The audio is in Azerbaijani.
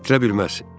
Etdirə bilməz.